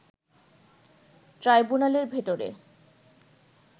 ট্রাইবুনালের ভেতরে